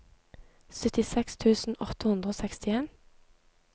syttiseks tusen åtte hundre og sekstien